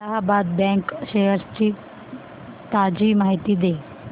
Allahabad bank shares ची ताजी माहिती दे